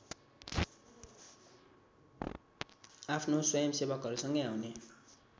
आफ्नो स्वयंसेवकहरूसँगै आउने